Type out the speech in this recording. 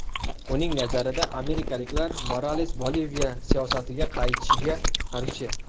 Uning nazarida, amerikaliklar Morales Boliviya siyosatiga qaytishiga qarshi.